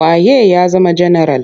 Wa ye ya zama janaral?